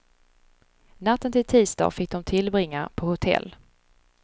Natten till tisdag fick de tillbringa på hotell.